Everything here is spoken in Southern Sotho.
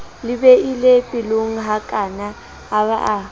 le beile pelonghakana a ba